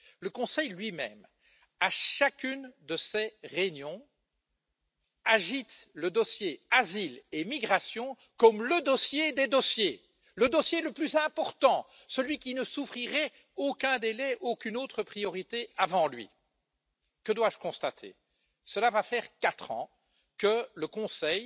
Le Conseil lui même, à chacune de ses réunions, agite le dossier asile et migrations comme le dossier des dossiers, le dossier le plus important, celui qui ne souffrirait aucun délai, aucune autre priorité avant lui. Que dois je constater? Cela va faire quatre ans que le Conseil